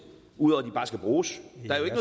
ud over at det bare skal bruges